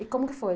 E como que foi?